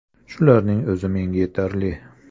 Shularning o‘zi menga yetarli.